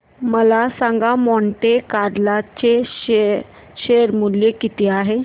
मला सांगा Monte Carlo चे शेअर मूल्य किती आहे